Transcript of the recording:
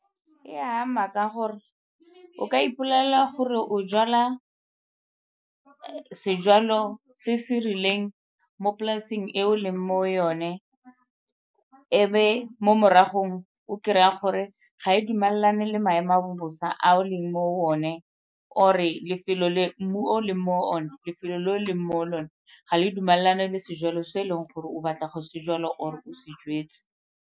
E a ama ka gore o ka ipolelela gore o jala sejalo se se rileng mo polasing e o leng mo yone e be mo maragong o kry-a gore ga e dumalane le maemo a bosa a o leng mo o ne, or-e mmu o o leng mo one, lefelo le o leng mo go lone ga le dumalane le sejalo se e leng gore o batla go se jwala or-e o se jwetse.